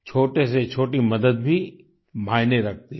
छोटे से छोटी मदद भी मायने रखती है